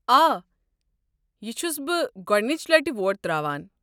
آ، یہ چھُس بہٕ گۄڑنچہِ لٹہِ ووٹ ترٛاوان۔